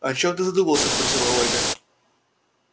о чём ты задумался спросила ольга